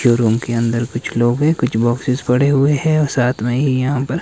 show room के अंदर कुछ लोग हैं कुछ बॉक्सेस पड़े हुए हैं और साथ में ही यहाँ पर --